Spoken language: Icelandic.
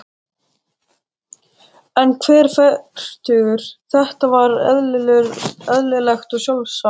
Hann var fertugur, þetta var eðlilegt og sjálfsagt.